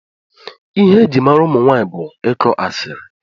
Ihe eji mara ụmụnwanyị bụ ịkụ asiri